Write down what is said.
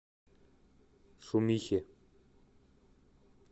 шумихе